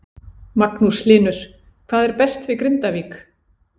Magnús Hlynur: Hvað er best við Grindavík?